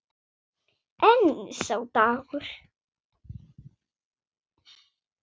En sá dagur!